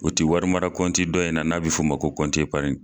O ti wari mara kɔnti dɔ in na n'a be f' o o ma ko kɔnti epariɲi